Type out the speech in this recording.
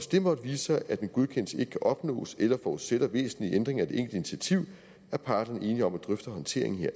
det måtte vise sig at en godkendelse ikke kan opnås eller forudsætter væsentlige ændringer af de enkelte initiativer er parterne enige om at drøfte håndteringen